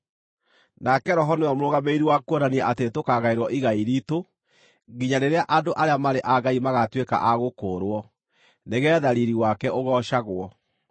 Nake Roho nĩwe mũrũgamĩrĩri wa kuonania atĩ nĩtũkagaĩrwo igai riitũ nginya rĩrĩa andũ arĩa marĩ a Ngai magaatuĩka a gũkũũrwo, nĩgeetha riiri wake ũgoocagwo.